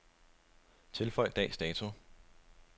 Tilføj dags dato.